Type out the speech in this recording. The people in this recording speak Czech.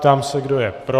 Ptám se, kdo je pro.